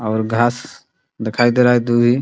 और घास दिखाई दे रहा है दूभी --